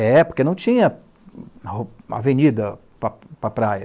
É, porque não tinha avenida para para a praia.